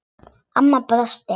Amma brosti.